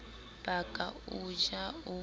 ba ka o ja o